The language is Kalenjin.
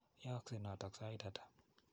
Yaaksei notok sait ata?